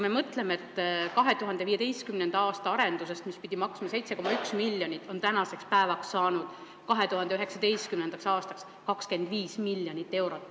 Mõelgem: 2015. aasta arendusest, mis pidi maksma 7,1 miljonit, on tänaseks päevaks, 2019. aastaks saanud 25 miljonit eurot.